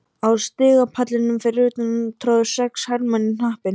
Á stigapallinum fyrir utan tróðust sex hermenn í hnappi.